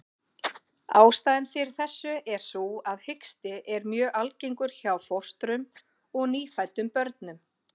Ástæðan fyrir þessu er sú að hiksti er mjög algengur hjá fóstrum og nýfæddum börnum.